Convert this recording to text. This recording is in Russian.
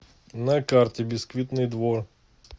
на карте бисквитный двор